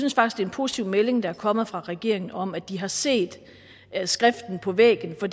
positiv melding der er kommet fra regeringen om at de har set skriften på væggen for